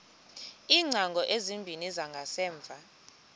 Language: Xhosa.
iingcango ezimbini zangasemva